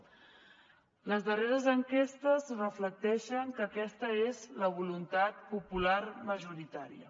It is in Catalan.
les darreres enquestes reflecteixen que aquesta és la voluntat popular majoritària